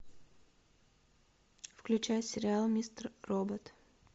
включай сериал мистер робот